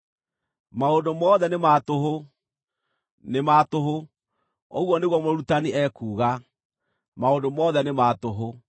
“Maũndũ mothe nĩ ma tũhũ! Nĩ ma tũhũ!” Ũguo nĩguo Mũrutani ekuuga. “Maũndũ mothe nĩ ma tũhũ!”